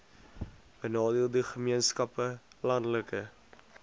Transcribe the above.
benadeelde gemeenskappe landelike